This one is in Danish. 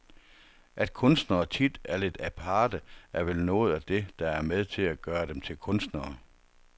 At kunstnere tit er lidt aparte, er vel noget af det, der er med til at gøre dem til kunstnere.